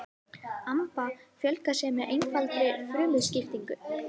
amaba fjölgar sér með einfaldri frumuskiptingu